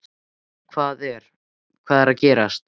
Hvað er, hvað er að gerast?